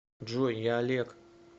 джой я олег